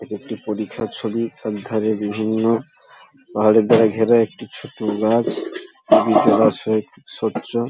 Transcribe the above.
এটি একটি পরিখার ছবি সব ধারে বিভিন্ন পাহাড়ের ঘেরা একটি ছোট গাছ স্বচ্ছ ।